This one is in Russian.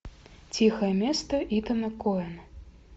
тихое место итана коэна